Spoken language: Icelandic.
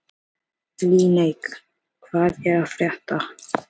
Líneik, hvað er að frétta?